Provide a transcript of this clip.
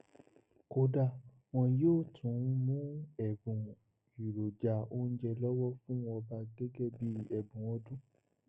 kódà wọn yóò tún mú ẹbùn èròjà oúnjẹ lọwọ fún ọba gẹgẹ bíi ẹbùn ọdún